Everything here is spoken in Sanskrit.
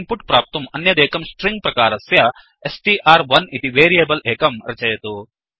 इन्पुट् प्राप्तुम् अन्यदेकं स्ट्रिंग प्रकारस्य स्ट्र्1 इति वेरियेबल् एकं रचयतु